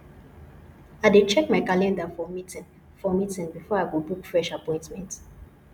i dey check my calendar for meeting for meeting before i go book fresh appointment